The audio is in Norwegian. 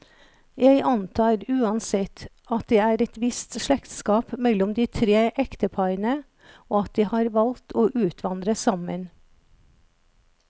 Jeg antar uansett, at det er et visst slektskap mellom de tre ekteparene, og at de har valgt å utvandre sammen.